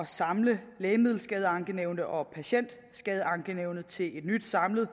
samle lægemiddelskadeankenævnet og patientskadeankenævnet til et nyt samlet